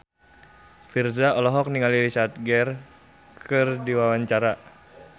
Virzha olohok ningali Richard Gere keur diwawancara